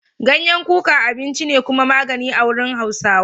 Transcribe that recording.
Ganyen kuka abinci ne kuma magani a wurin Hausawa.